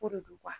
Ko de do